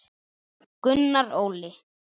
Gunnar Óli.